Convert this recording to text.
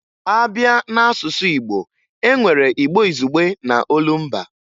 A bịa n'asụsụ Igbo, e nwere Igbo izugbe na olumba